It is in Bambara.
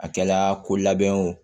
A kɛla ko labɛn o